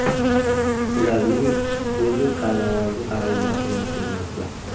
Ularning o‘zi saylovoldi targ‘ibotini o‘tkazmoqda.